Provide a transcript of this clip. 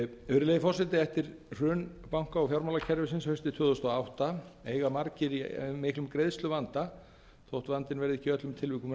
virðulegi forseti eftir hrun banka og fjármálakerfisins haustið tvö þúsund og átta eiga margir í miklum greiðsluvanda þótt vandinn verði ekki í öllum tilvikum